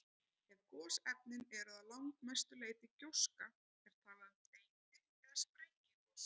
Ef gosefnin eru að langmestu leyti gjóska er talað um þeyti- eða sprengigos.